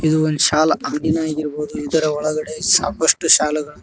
ಇದು ಒಂದು ಶಾಲ್ ಅಂಗಡಿನೆ ಆಗಿರ್ಬೋದು ಇದರ ಒಳಗಡೆ ಸಾಕಷ್ಟು ಶಾಲುಗಳು --